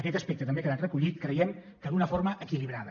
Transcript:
aquest aspecte també ha quedat recollit creiem que d’una forma equilibrada